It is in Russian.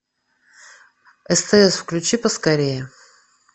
стс включи поскорее